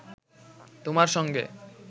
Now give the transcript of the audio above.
তোমার সঙ্গে